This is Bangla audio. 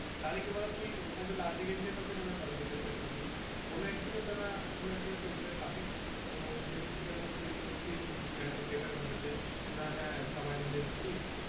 তাহলে কি বলতো তো তুই হয় তো last দিক enjoy পাবি নাহলে first দিকে enjoy পাবি মানে কোনো এক দিকে তো না কোনো এক দিক তো enjoy পাবি তো সেই দিক থেকে ধর তুই একটু feel better হবে যে না হ্যাঁ সবাই মিলে এসেছি